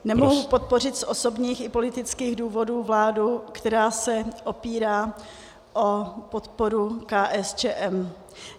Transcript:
Nemohu podpořit z osobních i politických důvodů vládu, která se opírá o podporu KSČM.